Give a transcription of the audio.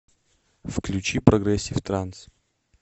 включи прогрессив транс